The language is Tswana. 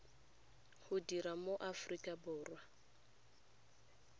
go dira mo aforika borwa